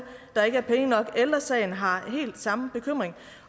der ikke er penge nok ældre sagen har helt samme bekymring